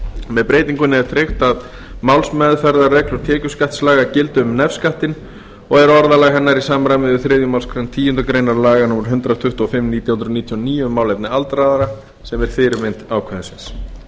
með breytingunni er tryggt að málsmeðferðarreglur tekjuskattslaga gildi um nefskattinn og er orðalag hennar í samræmi við þriðju málsgreinar tíundu grein laga númer hundrað tuttugu og fimm nítján hundruð níutíu og níu um málefni aldraðra sem er fyrirmynd ákvæðisins í